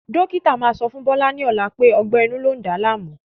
Dókítà máa sọ fún Bọlá ni ọ̀la wípé ọgbẹ́ inú lọ ń dá láàmú